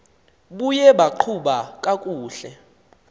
buye baqhuba kakuhle